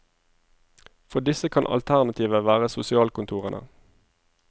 For disse kan alternativet være sosialkontorene.